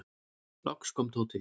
Loks kom Tóti.